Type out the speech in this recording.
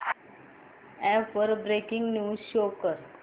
app वर breaking news show कर